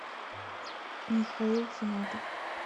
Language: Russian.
михаил финатов